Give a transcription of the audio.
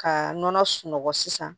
Ka nɔnɔ sunɔgɔ sisan